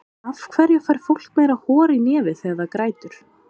af hverju fær fólk meira hor í nefið þegar það grætur